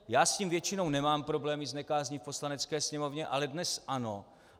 Já s tím většinou nemám problémy, s nekázní v Poslanecké sněmovně, ale dnes ano.